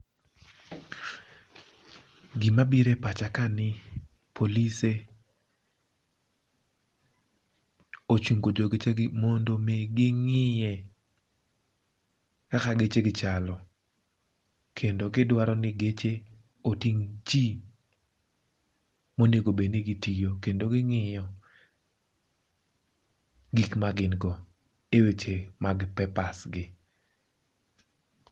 Gima biro e pacha kani polise ochungo jo gechegi mondo omi ging'iye kaka gechegi chal. Kendo gidwaro ni geche oting' ji monego bedni giting'o. Kendo ging'iyo gik maging'iyo e weche mag papers gi.